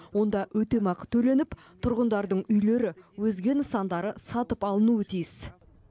онда өтемақы төленіп тұрғындардың үйлері өзге нысандары сатып алынуы тиіс